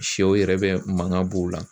Sɛw yɛrɛ bɛ mankan b'o la.